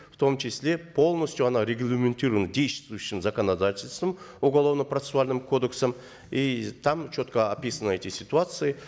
в том числе полностью она регламентирована действующим законодательством уголовно процессуальным кодексом и там четко описаны эти ситуации